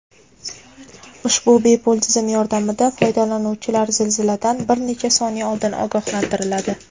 Ushbu bepul tizim yordamida foydalanuvchilar zilziladan bir necha soniya oldin ogohlantiriladi.